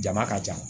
Jama ka ca